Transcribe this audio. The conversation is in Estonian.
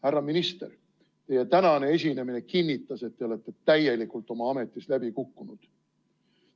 Härra minister, teie tänane esinemine kinnitas, et te olete täielikult oma ametis läbi kukkunud.